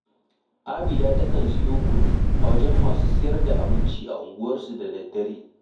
Abida takan siyo kunu a wajen masu sayar da abinci a unguwarsu da daddare